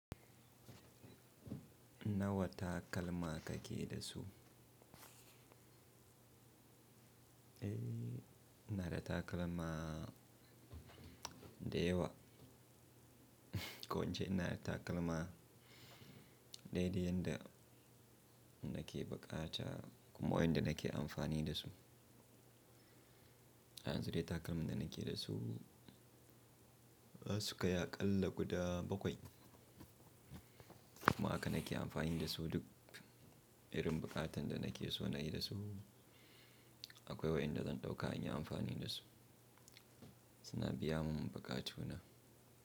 Nawa takalma kake da su? Eh, ina da takalma da yawa. Ko in ce ina da takalma daidai yanda nake buƙata kuma wayanda nake amfani da su. A yanzu dai takalman da nake za su sukai aƙalla guda bakwai. Kuma aka nake amfani da su duk irin buƙatan da nake so na yi da su. Akwai wayanda zan ɗauka in yi amfani da su. Suna biya mun buƙatu na.